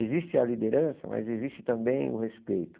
Existe a liderança, mas existe também o respeito.